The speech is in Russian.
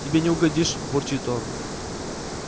тебе не угодишь бурчит он